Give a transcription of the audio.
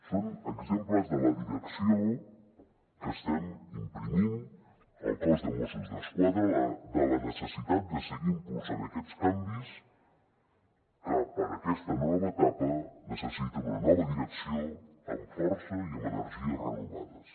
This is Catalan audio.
són exemples de la direcció que estem imprimint al cos de mossos d’esquadra de la necessitat de seguir impulsant aquests canvis perquè per a aquesta nova etapa necessita una nova direcció amb força i amb energies renovades